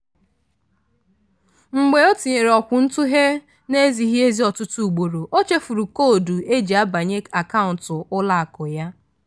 mgbe o tinyere okwuntughe na-ezighị ezi ọtụtụ ugboro ochefuru koodu eji abanye akaụntụ ụlọakụ ya.